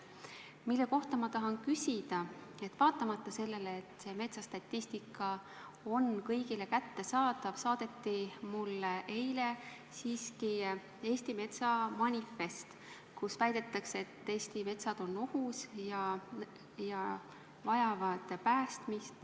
Ma tahan küsida selle kohta, et vaatamata sellele, et metsastatistika on kõigile kättesaadav, saadeti eile mulle siiski Eesti metsa manifest, milles väidetakse, et Eesti metsad on ohus ja vajavad päästmist.